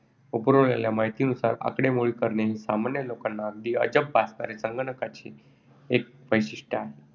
व पुरवलेल्या माहितीनुसार आकडेमोडी करणे हे सामान्य लोकांना अगदी अजब भासणारे संगणकांचे एक वैशिष्ट्य आहे.